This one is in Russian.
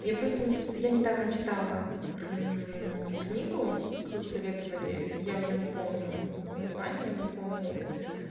мне просто не просто я недавно читала книгу кто-то советовали я уже не помню название не помню